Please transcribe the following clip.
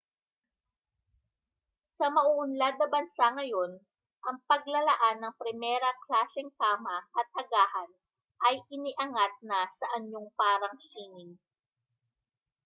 sa mauunlad na bansa ngayon ang paglalaan ng primera-klaseng kama at agahan ay iniangat na sa anyong parang sining